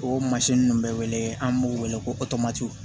O ninnu bɛ wele an b'u wele ko kɔto